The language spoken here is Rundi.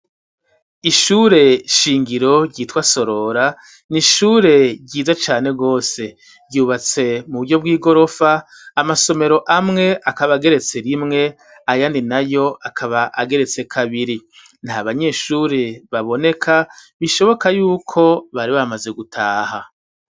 Ishure shingiro ryitwa Sorora n'ishure ryiza cane gose, ryubatse mu buryo bw'igorofa amasomero amwe akaba ageretse rimwe ayandi nayo akaba ageretse kabiri nta banyeshuri baboneka bishoboka yuko bari bamaze gutaha.